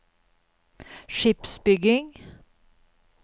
skipsbygging